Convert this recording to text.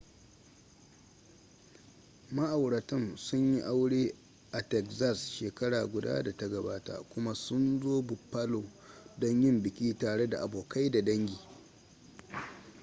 ma'auratan sun yi aure a texas shekara guda da ta gabata kuma sun zo buffalo don yin biki tare da abokai da dangi